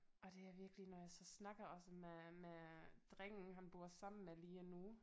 Og det er virkelig når jeg så snakker også med med drengen han bor sammen med lige nu